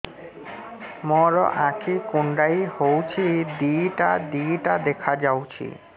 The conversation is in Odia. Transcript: ମୋର ଆଖି କୁଣ୍ଡାଇ ହଉଛି ଦିଇଟା ଦିଇଟା ଦେଖା ଯାଉଛି